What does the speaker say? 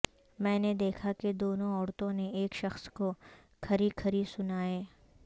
میں نے دیکھا کہ دونوں عورتوں نے ایک شخص کو کھری کھری سنائیں